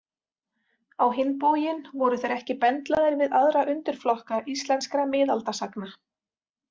Á hinn bóginn voru þeir ekki bendlaðir við aðra undirflokka íslenskra miðaldasagna.